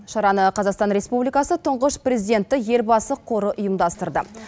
шараны қазақстан республикасы тұңғыш президенті елбасы қоры ұйымдастырды